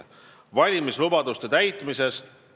Te küsisite valimislubaduste täitmise kohta.